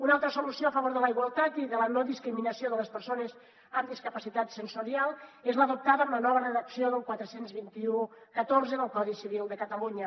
una altra solució a favor de la igualtat i de la no discriminació de les persones amb discapacitat sensorial és l’adoptada amb la nova redacció del quaranta dos mil cent i catorze del codi civil de catalunya